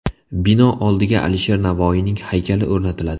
Bino oldiga Alisher Navoiyning haykali o‘rnatiladi.